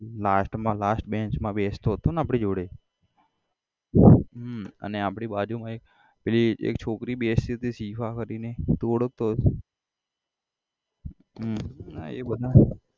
last માં last banch માં બેસતો હતોને આપડી જોડે હમ અને આપડી બાજુમા એક પેલી એક છોકરી બેસતી હતી શિફા કરીને તું ઓળખાતો હોઇસ હમ આ એ બધા